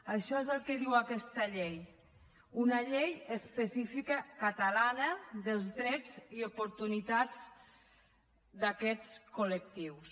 això és el que diu aquesta llei una llei específica catalana dels drets i oportunitats d’aquests col·lectius